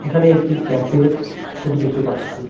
এখানে একটি ক্যাফের ছবি দেখতে পাচ্ছি।